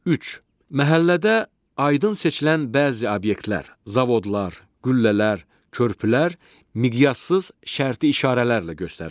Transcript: Üç: Məhəllədə aydın seçilən bəzi obyektlər – zavodlar, qüllələr, körpülər miqyassız şərti işarələrlə göstərilir.